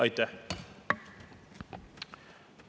Aitäh!